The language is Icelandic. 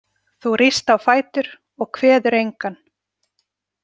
Þú ríst á fætur og kveður engan.